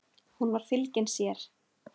Hún var fylgin sér.